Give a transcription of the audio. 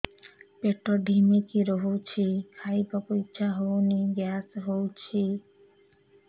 ପେଟ ଢିମିକି ରହୁଛି ଖାଇବାକୁ ଇଛା ହଉନି ଗ୍ୟାସ ହଉଚି